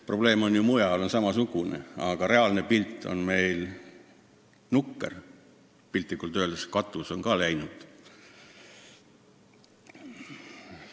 Probleem on ju mujal sama, aga reaalne seis on meil nukker: piltlikult öeldes on katus ka läinud.